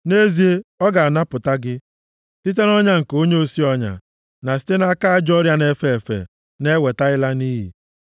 Nʼezie, ọ ga-anapụta gị site nʼọnya nke onye osi ọnya na site nʼaka ajọ ọrịa na-efe efe na-eweta ịla nʼiyi.